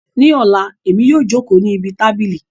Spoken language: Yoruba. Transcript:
Ní Ọla, Èmi yóò jókòó ní ibi tábìlì